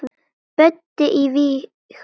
Böddi í Vigur.